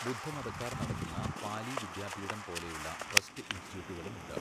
ബുദ്ധമതക്കാർ നടത്തുന്ന പാലി വിദ്യാപീഠം പോലെയുള്ള ട്രസ്റ്റ് ഇൻസ്റ്റിറ്റ്യൂട്ടുകളും ഉണ്ട്.